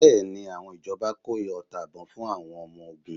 Bẹ́ẹ̀ni, àwọn ìjọba kó ọta ìbon fún àwọn ọmọ ogun?